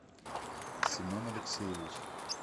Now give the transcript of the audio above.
семен алексеевич